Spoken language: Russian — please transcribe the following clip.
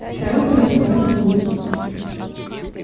старуха расплылась в улыбке